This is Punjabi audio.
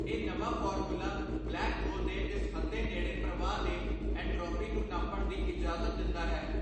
ਇਹ ਨਵਾਂ ਫ਼ਾਰਮੂਲਾ ਬਲੈਕ ਹੋਲ ਦੇ ਦਿਸਹੱਦੇ ਨੇੜੇ ਪ੍ਰਵਾਹ ਦੇ ਐਂਟ੍ਰੌਪੀ ਨੂੰ ਨਾਪਣ ਦੀ ਇਜਾਜ਼ਤ ਦਿੰਦਾ ਹੈ।